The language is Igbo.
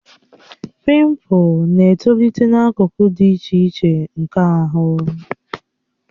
Pimpu na-etolite n'akụkụ dị iche iche nke ahụ